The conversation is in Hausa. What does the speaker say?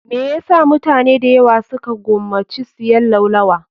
Me yasa mutane dayawa su ka gomaci siyan laulawa?